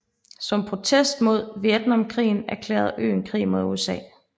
Som protest mod Vietnamkrigen erklærede øen krig mod USA